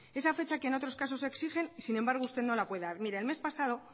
esa fecha que en otros casos exigen y sin embargo usted no la puede dar el mes pasado